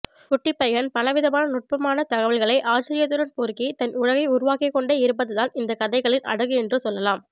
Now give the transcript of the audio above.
குட்டிப்பையன் பலவிதமான நுட்பமான தகவல்களை ஆச்சரியத்துடன் பொறுக்கித் தன் உலகை உருவாக்கிக்கொண்டே இருப்பதுதான் இந்தக்கதைகளின் அழகு என்று சொல்லலாம்